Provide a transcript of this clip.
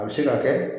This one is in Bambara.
A bɛ se ka kɛ